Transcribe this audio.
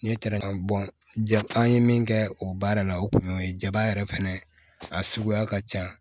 N'i ye ja an ye min kɛ o baara la o kun y'o ye jaba yɛrɛ fɛnɛ a suguya ka ca